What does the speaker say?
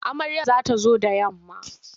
Amaryar za ta zo da yamma.